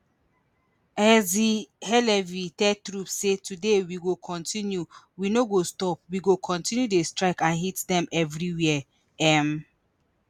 herzi halevi tell troops say today we go kontinu we no go stop we go kontinu dey strike and hit dem evriwia um